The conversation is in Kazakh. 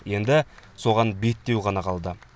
енді соған беттеу ғана қалды